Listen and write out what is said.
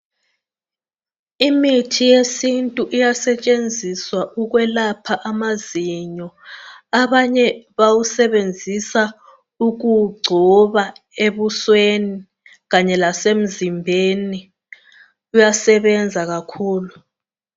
Imithi yesintu iyasetshenziswa ukwelapha amazinyo. Abanye bayawusebenzisa ukuwugcoba ebusweni, kanye lasemzimbeni. Uyasebenza kakhulu.